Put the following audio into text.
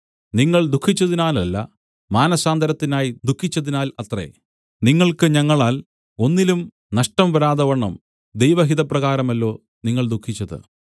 നിങ്ങൾ ദുഃഖിച്ചതിനാലല്ല മാനസാന്തരത്തിനായി ദുഃഖിച്ചതിനാൽ അത്രേ നിങ്ങൾക്ക് ഞങ്ങളാൽ ഒന്നിലും നഷ്ടം വരാതവണ്ണം ദൈവഹിതപ്രകാരമല്ലോ നിങ്ങൾ ദുഃഖിച്ചത്